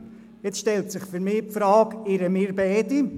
Es stellt sich für mich die Frage, ob wir uns nun beide irren.